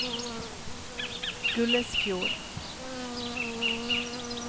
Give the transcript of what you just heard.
Gullesfjord